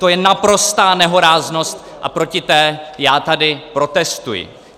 To je naprostá nehoráznost a proti té já tady protestuji.